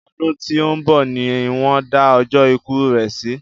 Ọdún tí òún bọ̀ ni won da ọjọ́ ikú rè si